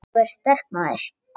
Sú er sterk, maður!